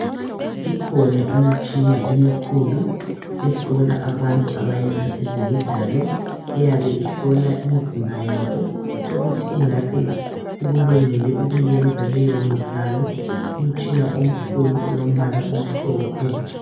Ikhona imitshina emikhulu ehlola abantu abayenza ezemidlalo iyab ihlola imizimba yabo ukuthi ingabe ikulungele ukuyiyenza leyo midlalo umtshina omkhulu olombala omhlophe.